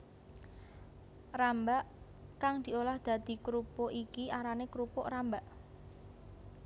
Rambak kang diolah dadi krupuk iki arané krupuk rambak